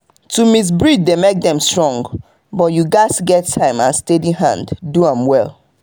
to mix breed dey make dem strong but you gats get time and steady hand do am well.